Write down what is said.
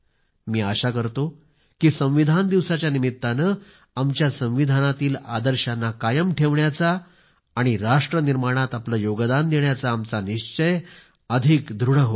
मी आशा करतो की संविधान दिवसाच्या निमित्ताने आमच्या संविधानातील आदर्शांना कायम ठेवण्याचा आणि राष्ट्रनिर्माणात आपले योगदान देण्याचा आमचा निश्चय अधिक दृढ होईल